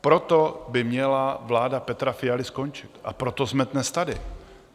Proto by měla vláda Petra Fialy skončit a proto jsme dnes tady.